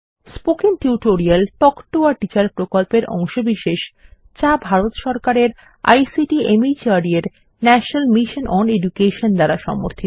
spoken tutorial talk to a teacher প্রকল্পের অংশবিশেষ যা ভারত সরকারের আইসিটি মাহর্দ এর ন্যাশনাল মিশন ওন এডুকেশন দ্বারা সমর্থিত